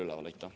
Aitäh!